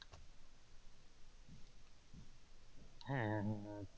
,